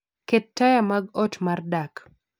Ket taya mag ot mar dak